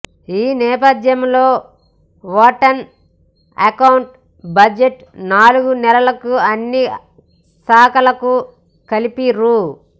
ఈ నేపథ్యంలో vote on account budget నాలుగు నెలలకు అన్ని శాఖలకు కలిపి రూ